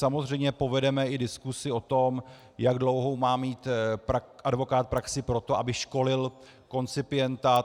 Samozřejmě povedeme i diskusi o tom, jak dlouhou má mít advokát praxi pro to, aby školil koncipienta.